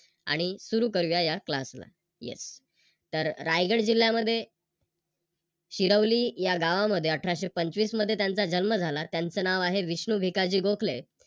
आणि सुरु करूया या Class ला. Yes तर रायगड जिल्ह्यामध्ये शिरवली या गावामध्ये अठराशे पंचवीस मध्ये त्यांचा जन्म झाला त्यांच नाव आहे विष्णु भिकाजी गोखले